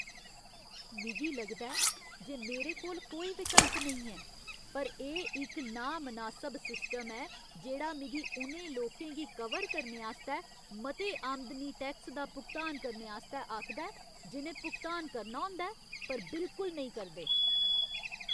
मिगी लगदा ऐ जे मेरे कोल कोई विकल्प नेईं ऐ, पर एह् इक नामनासब सिस्टम ऐ जेह्ड़ा मिगी उ'नें लोकें गी कवर करने आस्तै मते आमदनी टैक्स दा भुगतान करने आस्तै आखदा ऐ जि'नें भुगतान करना होंदा ऐ पर बिलकुल नेईं करदे।